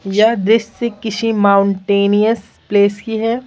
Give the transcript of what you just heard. या दृष्टि से किसी माउंटेनियस प्लेस की है।